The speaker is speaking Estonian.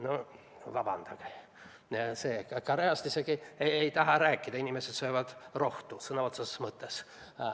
No vabandage, Koreast isegi ei taha ma rääkida, inimesed söövad seal rohtu sõna otseses mõttes.